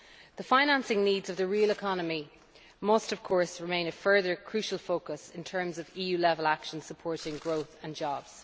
The financing needs of the real economy must remain a further crucial focus in terms of EU level actions supporting growth and jobs.